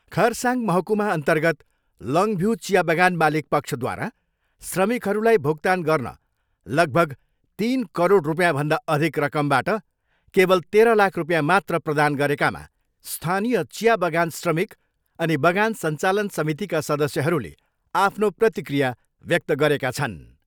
खरसाङ महकुमाअर्न्तगत लङ्भ्यू चिया बगान मालिक पक्षद्वारा श्रमिकहरूलाई भुक्तान गर्न लगभग तिन करोड रुपियाँभन्दा अधिक रकमबाट केवल तेह्र लाख रुपियाँ मात्र प्रदान गरेकामा स्थानीय चिया बगान श्रमिक अनि बगान सञ्चालन समितिका सदस्यहरूले आफ्नो प्रतिक्रिया व्यक्त गरेका छन्।